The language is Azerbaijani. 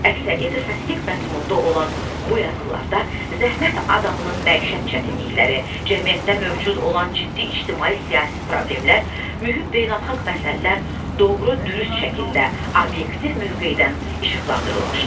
Əksəriyyəti satirik məzmununda olan bu yazılarda zəhmət adamının məişət çətinlikləri, cəmiyyətdə mövcud olan ciddi ictimai-siyasi problemlər, mühüm beynəlxalq məsələlər doğru-dürüst şəkildə obyektiv mövqedən işıqlandırılmışdı.